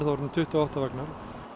orðnir tuttugu og átta vagnar